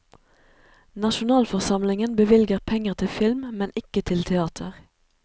Nasjonalforsamlingen bevilger penger til film, men ikke til teater.